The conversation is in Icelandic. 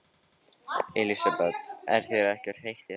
Elísabet: Er þér ekkert heitt í þessum búningi?